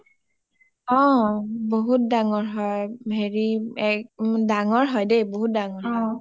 অ বহুত ডাঙৰ হয় , এ হেৰি এ ডাঙৰ হয় দে বহুত ডাঙৰ হয়